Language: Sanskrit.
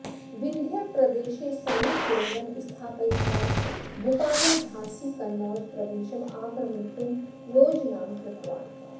विन्ध्यप्रदेशे सैनिककेन्द्रं स्थापयित्वा भूपालः झान्सीकनौज प्रदेशम् आक्रमितुं योजनां कृतवान्